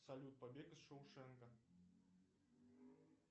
салют побег из шоушенка